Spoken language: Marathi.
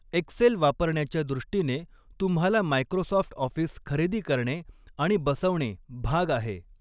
एक्सेल वापरण्याच्या दृष्टीने तुम्हाला मायक्रोसॉफ्ट ऑफिस खरेदी करणे आणि बसवणे भाग आहे.